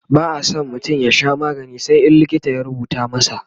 ba'a San mutum ya Sha magani sai in likita ya rubuta masa